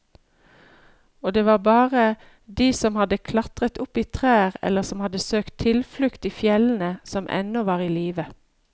Og det var bare de som hadde klatret opp i trær eller som hadde søkt tilflukt i fjellene, som ennå var i live.